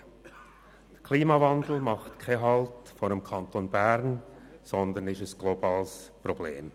Der Klimawandel macht nicht Halt vor dem Kanton Bern, sondern ist ein globales Problem.